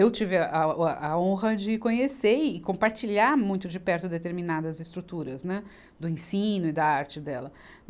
Eu tive a, a, o, a honra de conhecer e compartilhar muito de perto determinadas estruturas, né, do ensino e da arte dela.